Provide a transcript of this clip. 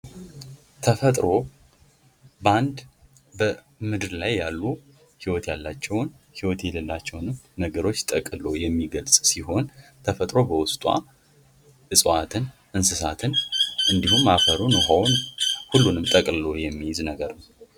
ተፈጥሮ በአንድ በምድር ላይ ያሉ ህይወት ያላቸውን ህይወት የሌላቸውንም ነገሮች ጠቅልሎ የሚገልጽ ሲሆን ሆን ተፈጥሮ በውስጧ እጽዋትን እንስሳትን እንዲሁም አፈሩን ውሃውን ሁሉንም ጠቅሎ የሚይዝ ነገር ነው።